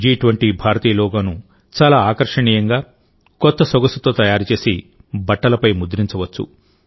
జి20 భారతీయ లోగోను చాలా ఆకర్షణీయంగా కొత్త సొగసుతో తయారు చేసి బట్టలపై ముద్రించవచ్చు